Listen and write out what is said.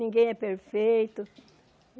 Ninguém é perfeito.